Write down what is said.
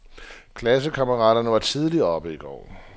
Klassekammeraterne var tidligt oppe i går.